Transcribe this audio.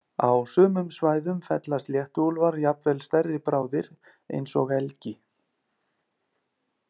Á sumum svæðum fella sléttuúlfar jafnvel stærri bráðir eins og elgi.